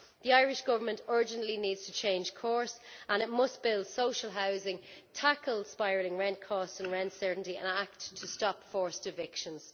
The Irish Government urgently needs to change course, and it must build social housing, tackle spiralling rent costs and rent uncertainty, and act to stop forced evictions.